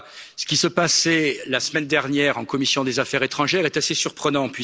Ce qui s'est passé la semaine dernière en commission des affaires étrangères est assez surprenant.